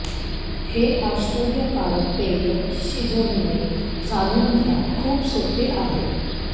हे आश्चर्यकारक पेय शिजविणे जाणून घ्या खूप सोपे आहे